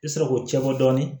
I bɛ sɔrɔ k'o cɛ bɔ dɔɔnin